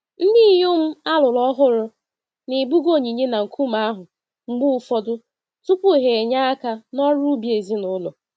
Ndinyom alụrụ ọhụrụ na-ebuga onyinye na nkume ahụ mgbe ụfọdụ, tupu ha enye aka n'ọrụ ubi ezinụlọ.